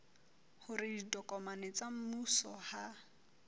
hore ditokomane tsa mmuso ha